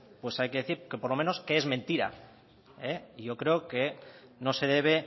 hay que decir por lo menos que es mentira yo creo que no se debe